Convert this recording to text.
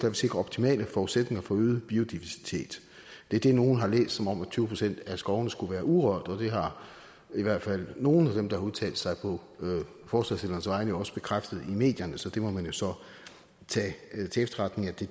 vil sikre optimale forudsætninger for øget biodiversitet det er det nogle har læst som at tyve procent af skovene skulle være urørte og det har i hvert fald nogle af dem der har udtalt sig på forslagsstillernes vegne jo også bekræftet i medierne så der må man jo så tage til efterretning at det